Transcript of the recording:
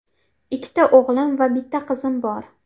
Ikkita o‘g‘lim va bitta qizim bor.